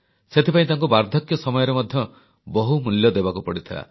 ସେଥିପାଇଁ ତାଙ୍କୁ ବାର୍ଦ୍ଧକ୍ୟ ସମୟରେ ମଧ୍ୟ ବହୁମୂଲ୍ୟ ଦେବାକୁ ପଡ଼ିଥିଲା